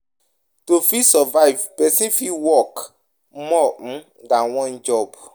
To fit survive, person fit work more um than one job